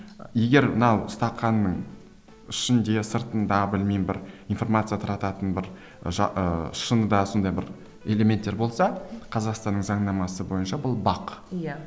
егер мына стақанның ішінде сыртында білмеймін бір информация тарататын бір ы шыныда сондай бір элементтер болса қазақстанның заңнамасы бойынша бұл бақ иә